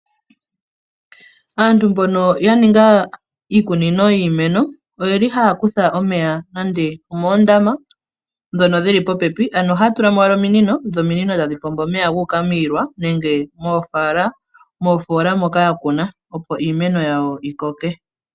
Aantu mbonobya ninga iikunino yiimeno oye li haa kutha omeya nande omoondama, ndhono dhi li popepi, ano ohaa tula mo owala ominino , dho ominino tadhi pombo omeya gu uka miilwa nenge moofoola moka ya kuna, opo iimeno yawo yi koke.